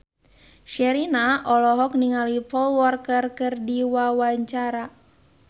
Sherina olohok ningali Paul Walker keur diwawancara